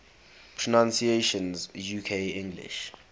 pronunciations uk english